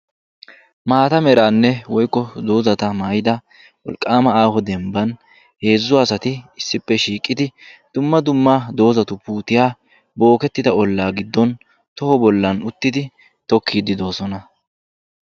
Maatta meranne woykko doozzatta maayiddi dembban asatti uttiddi dumma duma puutiya uttiddi tokkiddi doosonna.